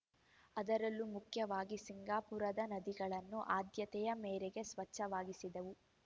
ಅದರಲ್ಲೂ ಮುಖ್ಯವಾಗಿ ಸಿಂಗಾಪುರದ ನದಿಗಳನ್ನು ಆದ್ಯತೆಯ ಮೇರೆಗೆ ಸ್ವಚ್ಛವಾಗಿಸಿದೆವು